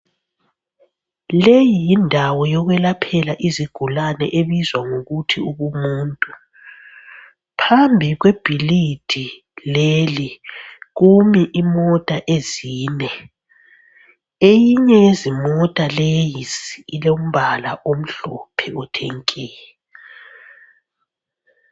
Leyi yindawo yokwelaphela izigulane ebizwa ngokuthi ubumuntu. Phambi kwebhilidi leli kumi imota ezine. Eyinye yezimota leyi ilombala omhlophe othe nke.